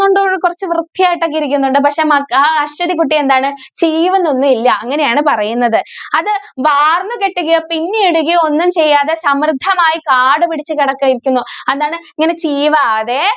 മ്പോള്‍ ഒക്കെ കുറച്ചു വൃത്തിയായിട്ട് ഒക്കെ ഇരിക്കുന്നുണ്ട്. പക്ഷേ, മ ആ ആശ്വതികുട്ടി എന്താണ്? ചീവുന്നൊന്നും ഇല്ല. അങ്ങനെയാണ് പറയുന്നത്. അത് വാര്‍ന്നു കെട്ടുകയോ, പിന്നിയിടുകയോ ഒന്നും ചെയ്യാതെ സമൃദ്ധമായി കാട് പിടിച്ച് കെടക്കെ ഇരിക്കുന്നു. അതാണ്‌ ഇങ്ങനെ ചീവാതെ